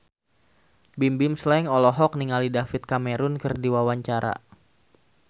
Bimbim Slank olohok ningali David Cameron keur diwawancara